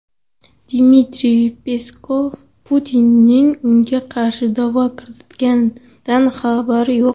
Dmitriy Peskov: Putinning unga qarshi da’vo kiritilganidan xabari yo‘q.